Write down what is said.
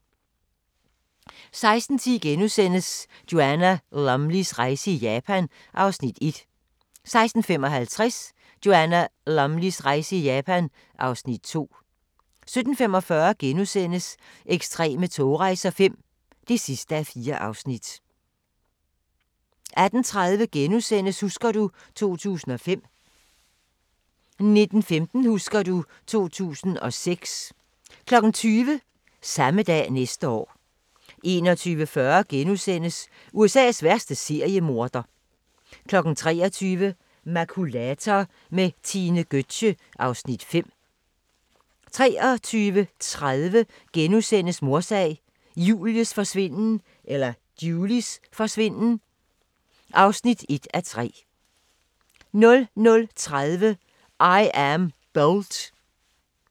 16:10: Joanna Lumleys rejse i Japan (Afs. 1)* 16:55: Joanna Lumleys rejse i Japan (Afs. 2) 17:45: Ekstreme togrejser V (4:4)* 18:30: Husker du ... 2005 * 19:15: Husker du ... 2006 20:00: Samme dag næste år 21:40: USA's værste seriemorder * 23:00: Makulator med Tine Gøtzsche (Afs. 5) 23:30: Mordsag: Julies forsvinden (1:3)* 00:30: I am Bolt